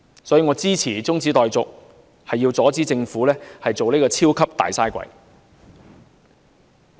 所以，我支持中止待續議案，是要阻止政府成為"超級大嘥鬼"。